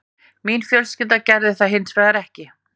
Mín fjölskylda gerði það hins vegar ekki